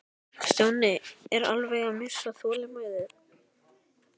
Stjáni var alveg að missa þolinmæðina.